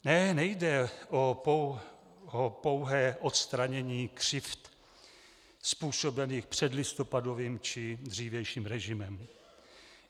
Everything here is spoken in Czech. Ne, nejde o pouhé odstranění křivd způsobených předlistopadovým či dřívějším režimem.